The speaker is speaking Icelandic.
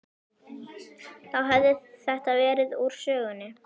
Þá hefði þetta verið úr sögunni.